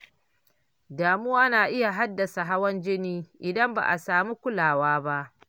Damuwa na iya haddasa hawan jini idan ba a samu kulawa ba.